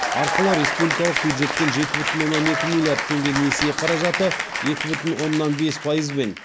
арқылы республикалық бюджеттен жеті бүтін оннан екі миллиард теңге несие қаражаты екі бүтін оннан бес пайызбен